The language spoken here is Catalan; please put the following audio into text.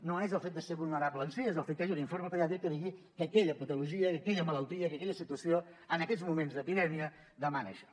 no és el fet de ser vulnerable en si és el fet que hi hagi un informe pediàtric que digui que aquella patologia que aquella malaltia que aquella situació en aquests moments d’epidèmia demana això